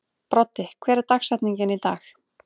Broddi, hver er dagsetningin í dag?